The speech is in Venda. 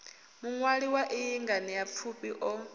muṅwali wa iyi nganeapfufhi o